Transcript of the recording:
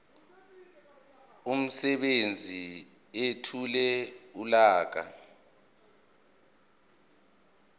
umsebenzi ethule uhlaka